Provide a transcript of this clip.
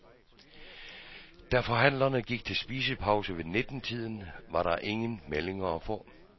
Da forhandlerne gik til spisepause ved nittentiden var der ingen meldinger at få.